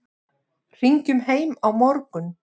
Hringjum heim á morgun.